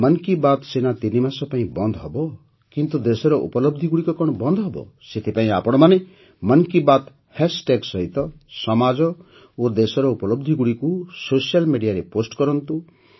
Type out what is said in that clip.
ମନ୍ କି ବାତ୍ ସିନା ତିନିମାସ ପାଇଁ ବନ୍ଦ ହେବ କିନ୍ତୁ ଦେଶର ଉପଲବଧିଗୁଡ଼ିକ କଣ ବନ୍ଦ ହେବ ସେଥିପାଇଁ ଆପଣମାନେ ମନ୍ କି ବାତ୍ ହାଷ୍ଟାଗ୍ ସହିତ ସମାଜ ଓ ଦେଶର ଉପଲବଧିଗୁଡ଼ିକୁ ସୋସିଆଲ୍ Mediaରେ ପୋଷ୍ଟ କରନ୍ତୁ